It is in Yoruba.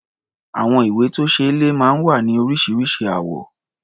Àwọn ìwé-tó-ṣeé-lẹ̀ máa ń wá ní oríṣiríṣi àwọ̀.